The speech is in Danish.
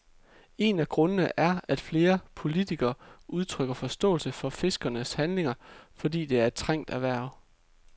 En af grundene er, at flere politikere udtrykker forståelse for fiskernes handlinger, fordi det er et trængt erhverv.